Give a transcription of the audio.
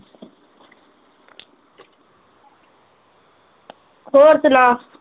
ਹੋਰ ਸੁਣਾ